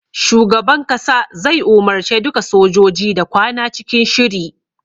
Shugaban kasa zai umarce duka sojoji da kwana cikin shiri.